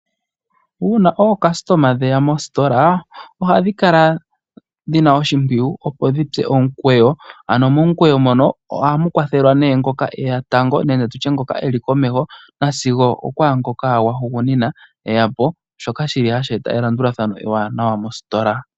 Uuna aalandi yeya mositola ohadhi kala dhina oshimpwiyu opo dhi tse omukweyo. Ano momukweyo mono ohamu kwathelwa nee ngoka eya tango nenge tutye ngoka eli komeho sigo okwaangoka gwa hugunina eya po shoka shi li hashi eta elandulathano ewanawa mositola.